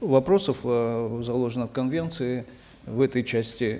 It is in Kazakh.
вопросов э заложено в конвенции в этой части